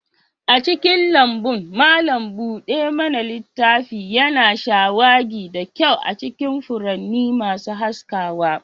A cikin lambun, malam buɗe mana littafi yana shawagi da kyau a cikin furanni masu haskawa.